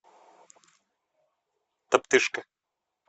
топтыжка